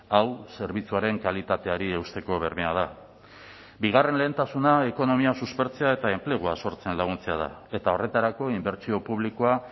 hau zerbitzuaren kalitateari eusteko bermea da bigarren lehentasuna ekonomia suspertzea eta enplegua sortzen laguntzea da eta horretarako inbertsio publikoa